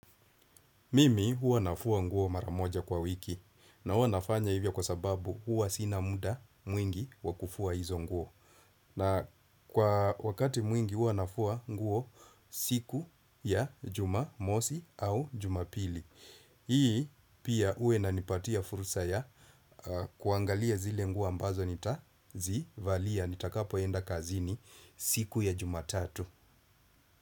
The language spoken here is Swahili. Mimi huwa nafua nguo mara moja kwa wiki na huwa nafanya hivyo kwa sababu huwa sina muda mwingi wa kufua hizo nguo. Na kwa wakati mwingi huwa nafua nguo siku ya Jumamosi au Jumapili. Hii pia huwa inanipatia fursa ya kuangalia zile nguo ambazo nitazivalia nitakapoenda kazini siku ya Jumatatu.